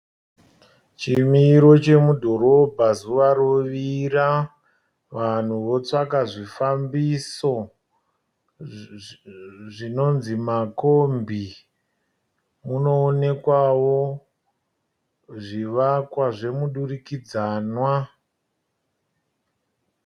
Chimiro chemudhoromba zuva rovira vanhu votsvaga zvifambisa zvinonzi makombi. Munoonekwawo zvivakwa zvemudurikidzanwa.